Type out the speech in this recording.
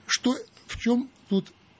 что в чем тут